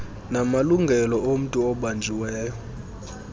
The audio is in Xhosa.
namalungelo omntu obanjiweyo